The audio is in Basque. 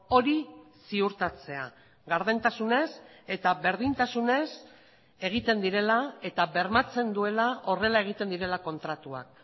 hori ziurtatzea gardentasunez eta berdintasunez egiten direla eta bermatzen duela horrela egiten direla kontratuak